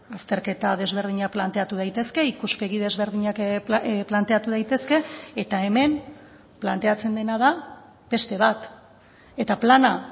azterketa desberdinak planteatu daitezke ikuspegi desberdinak planteatu daitezke eta hemen planteatzen dena da beste bat eta plana